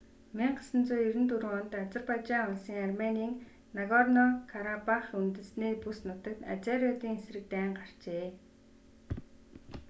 1994 онд азербайжан улсын арменийн нагорно-карабах үндэстний бүс нутагт азериудын эсрэг дайн гарчээ